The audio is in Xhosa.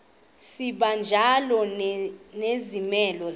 sibanjalo nezimela bizo